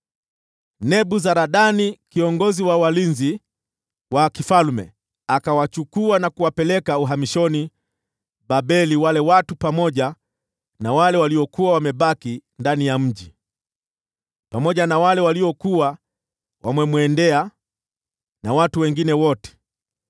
Nebuzaradani kiongozi wa walinzi wa mfalme akawachukua na kuwapeleka uhamishoni Babeli watu waliokuwa wamebaki ndani ya mji, pamoja na wale waliokuwa wamejisalimisha kwake, na watu wengine wote.